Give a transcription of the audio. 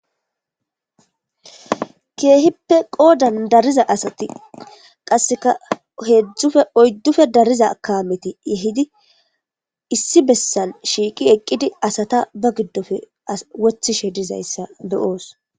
Keehippe qoodan dariza asati qasseka heedzdzufe oyddufe dariza kameti yehidi issi bessan shiiqi eqqidi asata ba giddofe wothishe dizayssa beyoos.